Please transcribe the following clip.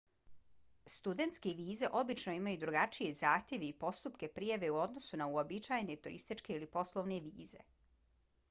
studentske vize obično imaju drugačije zahtjeve i postupke prijave u odnosu na uobičajene turističke ili poslovne vize